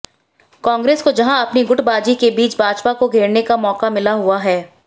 कांग्रेस को जहां अपनी गुटबाजी के बीच भाजपा को घेरने का मौका मिला हुआ है